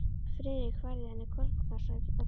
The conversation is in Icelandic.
Friðrik færði henni konfektkassa að gjöf.